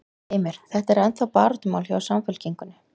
Heimir: Þetta er ennþá baráttumál hjá, hjá Samfylkingunni?